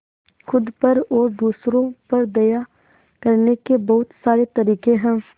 खुद पर और दूसरों पर दया करने के बहुत सारे तरीके हैं